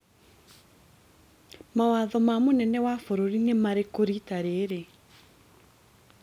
Mawatho ma mũnene wa bũrũri nĩ marĩkũ rita rĩrĩ?